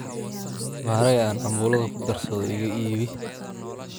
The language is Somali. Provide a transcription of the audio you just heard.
Maharage aan cambuladha kugarsadho iika iibi.